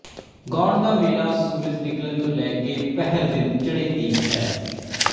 ਗਾਉਣ ਦਾ ਵੇਲਾ ਸੂਰਜ ਨਿਕਲਣ ਤੋਂ ਲੈਕੇ ਪਹਰ ਦਿਨ ਚੜ੍ਹੇ ਤੀਕ ਹੈ